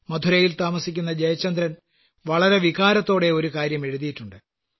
മധുരയിൽ താമസിക്കുന്ന ജയചന്ദ്രൻ വളരെ വികാരത്തോടെ ഒരു കാര്യം എഴുതിയിട്ടുണ്ട്